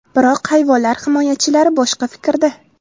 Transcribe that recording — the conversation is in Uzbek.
Biroq hayvonlar himoyachilari boshqa fikrda.